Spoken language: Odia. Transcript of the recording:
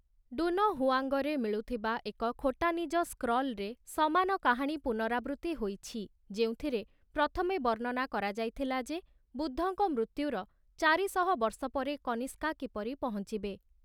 ଡୁନହୁଆଙ୍ଗରେ ମିଳୁଥିବା ଏକ ଖୋଟାନିଜ ସ୍କ୍ରଲରେ ସମାନ କାହାଣୀ ପୁନରାବୃତ୍ତି ହୋଇଛି, ଯେଉଁଥିରେ ପ୍ରଥମେ ବର୍ଣ୍ଣନା କରାଯାଇଥିଲା ଯେ ବୁଦ୍ଧଙ୍କ ମୃତ୍ୟୁର ୪୦୦ ବର୍ଷ ପରେ କନିସ୍କା କିପରି ପହଞ୍ଚିବେ ।